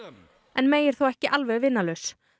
en May er þó ekki alveg vinalaus